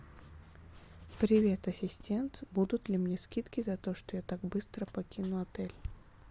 привет ассистентбудут ли мне скидки за то что я так быстро покину отель